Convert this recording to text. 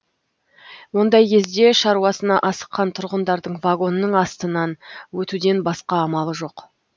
ондай кезде шаруасына асыққан тұрғындардың вагонның астынан өтуден басқа амалы жоқ